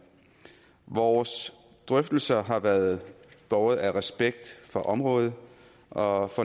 vores drøftelser har været båret af respekt for området og